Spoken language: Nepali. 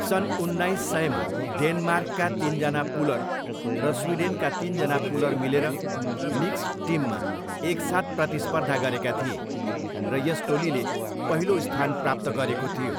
सन् उन्नाइस सयमा डेनमार्कका तिनजना पुलर र स्विडेनका तिनजना पुलर मिलेर मिक्स्ड टिममा एकसाथ प्रतिस्पर्धा गरेका थिए र यस टोलीले पहिलो स्थान प्राप्त गरेको थियो।